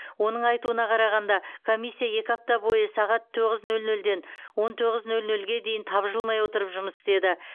оның айтуына қарағанда комиссия екі апта бойы сағат тоғыз нөл нөлден он тоғыз нөл нөлге дейін тапжылмай отырып жұмыс істеді